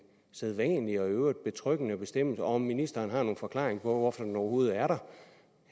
sædvanlig og i øvrigt betryggende bestemmelse og om ministeren har nogen forklaring på hvorfor den overhovedet er der